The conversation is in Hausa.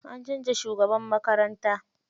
An canza shugaban makaranta.